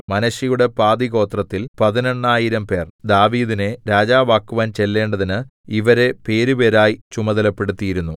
മനശ്ശെയുടെ പാതിഗോത്രത്തിൽ പതിനെണ്ണായിരംപേർ ദാവീദിനെ രാജാവാക്കുവാൻ ചെല്ലേണ്ടതിന് ഇവരെ പേരുപേരായി ചുമതലപ്പെടുത്തിയിരുന്നു